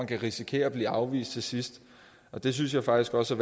kan risikere at blive afvist til sidst det synes jeg faktisk også